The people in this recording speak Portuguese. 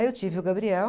Aí eu tive o Gabriel.